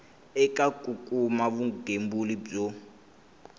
eka ku kuma vugembuli byo